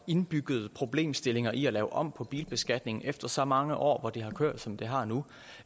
indbyggede problemstillinger i at lave om på bilbeskatningen efter så mange år hvor det har kørt som det har nu